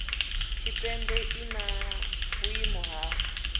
tshipembe i na vhuimo na